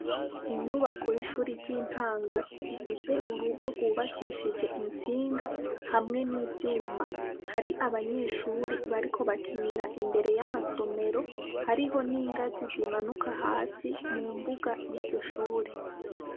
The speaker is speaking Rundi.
Inyubako y'ishure ry'intango, ifise urugo rwubakishije intsinga, hamwe n'ivyuma, hari abanyeshure bariko bakinira imbere y'amasomero hariho n'ingazi zimanuka hasi mu mbuga y'iryo shure.